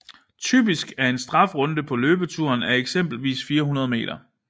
Typisk en strafrunde på løbeturen á eksempelvis 400 meter